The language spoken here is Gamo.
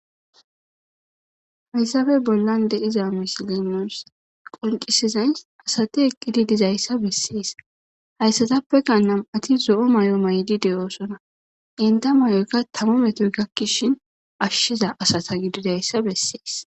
hayssafe bollan deiza misilimos qoncisizay asati eqqidi dizayssa bessees hayssatappeka nam7ati zo7o may7o maydi de7oosona inta may7oykka tama metoy gakkishin ashshiza asata gididayssa bessees